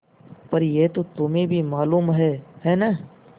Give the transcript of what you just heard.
पर यह तो तुम्हें भी मालूम है है न